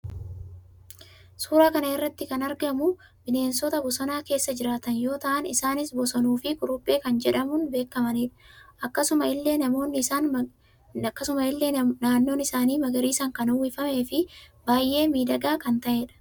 Suura kana irraa kan argamu bineensota bosona keessa jiraatan yoo tahan isaaniis bosonuu fi quruphee kan jedhamun beekamanidha. Akkasuma illee naannoon isaanii magariisaan kan uwwifamee fi baayee midhagaa kan taheedha